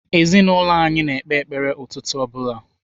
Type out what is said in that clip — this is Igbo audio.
Ezinaụlọ anyị na-ekpe ekpere ụtụtụ ọ bụla.